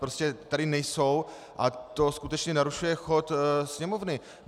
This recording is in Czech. Prostě tady nejsou a to skutečně narušuje chod Sněmovny.